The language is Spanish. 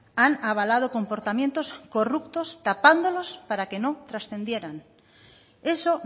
han avalado comportamientos corruptos tapándolos para que no trascendieran eso